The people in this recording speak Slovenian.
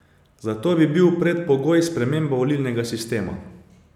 Za to bi bil predpogoj sprememba volilnega sistema.